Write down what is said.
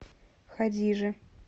хадиже